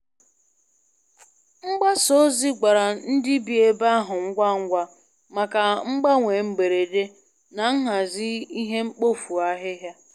Mgbasa ozi gwara ndị bi ebe ahụ ngwa ngwa maka mgbanwe mberede na nhazi ihe mkpofu ahịhịa.